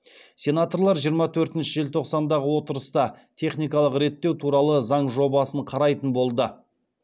сенаторлар жиырма төртінші желтоқсандағы отырыста техникалық реттеу туралы заң жобасын қарайтын болды